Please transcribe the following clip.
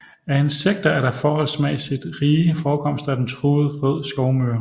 Af insekter er der forholdsmæssigt rige forekomster af den truede rød skovmyre